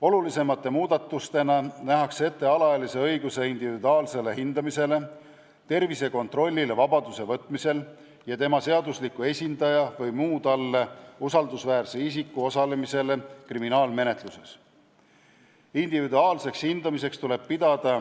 Olulisemate muudatustena nähakse ette alaealise isiku õigus individuaalsele hindamisele, vabaduse võtmisel tehtavale tervisekontrollile ja tema seadusliku esindaja või muu talle usaldusväärse isiku kriminaalmenetluses osalemisele.